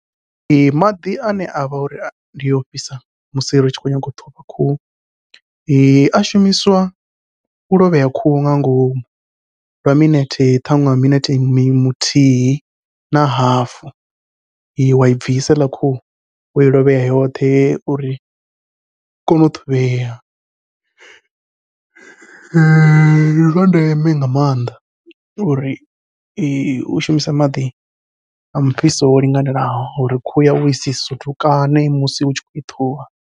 Ee maḓi ane avha uri ndi ofhisa musi ri tshi khou nyaga u ṱhuvha khuhu a shumiswa u lovhea khuhu nga ngomu, lwa minete ṱhaṅwe minete muthihi na hafu wai bvisa heiḽa khuhu wai lovhea yoṱhe uri u kone u ṱhuvhea. Ndi zwa ndeme nga maanḓa uri i shumisa maḓi a mufhiso o linganelaho uri khuhu yau isi sutukane musi u tshi khou i ṱhuvha.